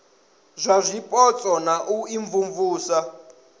zwa zwipotso na u imvumvusa